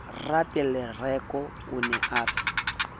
ratelereko o ne a re